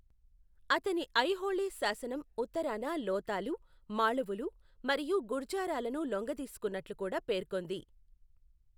అతని ఐహోళే శాసనం ఉత్తరాన లోతాలు, మాళవులు మరియు గుర్జారాలను లొంగదీసుకున్నట్లు కూడా పేర్కొంది.